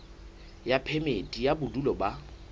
ya phemiti ya bodulo ba